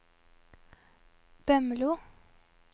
Bømlo